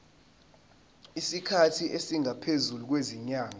isikhathi esingaphezulu kwezinyanga